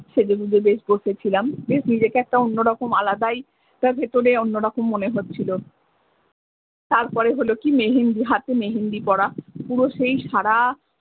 সেজে গুঁজে বেশ বসেছিলাম বেশ নিজেকে একটা অন্য রকম আলাদাই ভেতরে অন্য রকম মনে হচ্ছিলো তারপরে হলো কি মেহেন্দি হাতে মেহেন্দি করা পুরো সেই সাড়া।